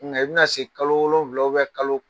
Nka i bɛna na se kalo wolowula kalo